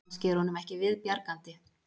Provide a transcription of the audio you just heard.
Kannski er honum ekki viðbjargandi